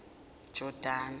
jordani